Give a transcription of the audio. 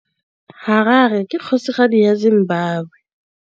Harare ke kgosigadi ya Zimbabwe.